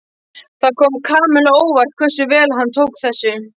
Það kom Kamillu á óvart hversu vel hann tók þessu.